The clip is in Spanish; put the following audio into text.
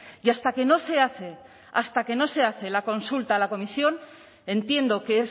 y hasta que no se hace hasta que no se hace la consulta a la comisión entiendo que